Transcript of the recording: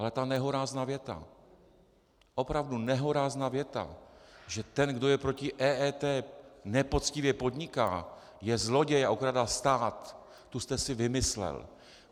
Ale ta nehorázná věta, opravdu nehorázná věta, že ten, kdo je proti EET, nepoctivě podniká, je zloděj a okrádá stát, tu jste si vymyslel.